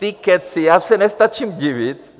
Ty kecy, já se nestačím divit.